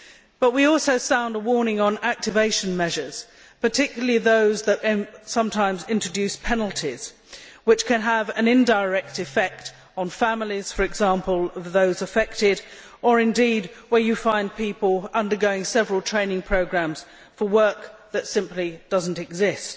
But we also sound a warning on activation measures, particularly those that sometimes introduce penalties which can have an indirect effect, for example on the families of those affected, or indeed where you find people undergoing several training programmes for work that simply does not exist.